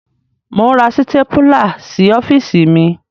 Mò ń ra sítépúlá sí ọ́fíìsì mi.